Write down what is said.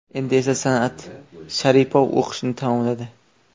Endi esa San’at Sharipov o‘qishni tamomladi.